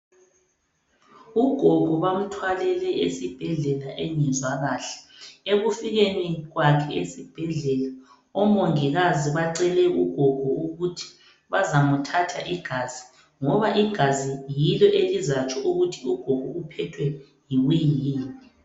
Ugogo bamthwalele esibhedlela engezwa kahle. Ekufikeni kwakhe esibhedlela omongikazi bamcele ukuthi bazamthatha igazi ngoba igazi yilo elizatsho ukuthi ugogo uphethwe yini.